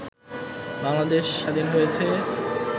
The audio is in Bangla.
বাংলাদেশ স্বাধীন হয়েছে